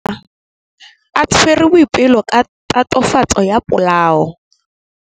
Maphodisa a tshwere Boipelo ka tatofatsô ya polaô.